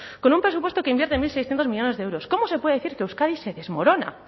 con un presupuesto que invierte mil seiscientos millónes de euros cómo se puede decir que euskadi se desmorona